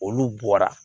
Olu bɔra